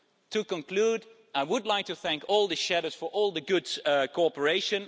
To conclude, I would like to thank all the shadows for all the good cooperation.